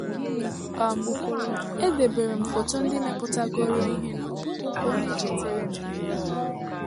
um E debèrè m foto ndị mepụta goro ìhè na óbodo ka ọ na echetaram ná nrọ dị irè